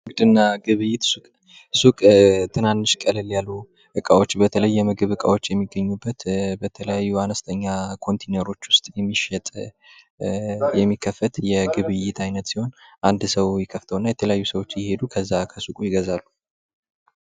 ንግድና ግብይት ሱቅ ትናንሽ ቀለል ያሉ በተለይ የምግብ እቃዎች የሚገኙበት በተለያዩ ዋጋ ኮንቲነሮች ውስጥ የሚከፈት የንግድና ግብይት አይነት ሲሆን አንድ ሰው ደግሞ ይከፍተውና የተለያዩ ሰዎች እዛ ከሱ ሄደው የገዛሉ።